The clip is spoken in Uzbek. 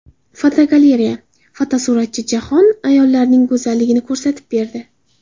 Fotogalereya: Fotosuratchi jahon ayollarining go‘zalligini ko‘rsatib berdi.